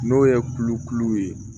N'o ye kulokulu ye